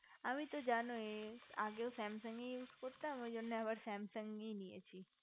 আমি তো জানোই আগেও samsung use করতাম ঐজন্য আবার ওই samsung ই নিয়েছি